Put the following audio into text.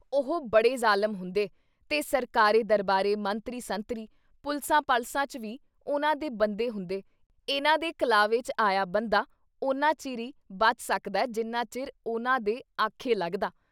ਉਹ ਬੜੇ ਜ਼ਾਲਿਮ ਹੁੰਦੇ ਤੇ ਸਰਕਾਰੇ-ਦਰਬਾਰੇ, ਮੰਤਰੀ ਸੰਤਰੀ, ਪੁਲਸਾਂ-ਪਲਸਾਂ 'ਚ ਵੀ ਉਨ੍ਹਾਂ ਦੇ ਬੰਦੇ ਹੁੰਦੇ ਇਨ੍ਹਾਂ ਦੇ ਕਲਾਵੇ 'ਚ ਆਇਆ ਬੰਦਾ ਓਨਾਂ ਚਿਰ ਈ ਬਚ ਸਕਦਾ, ਜਿੰਨਾ ਚਿਰ ਉਨ੍ਹਾਂ ਦੇ ਆਖੇ ਲੱਗਦਾ !